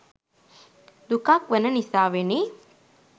දුකක් වන නිසාවෙනි.